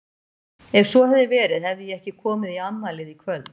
Ef svo hefði verið hefði ég ekki komið í afmælið í kvöld.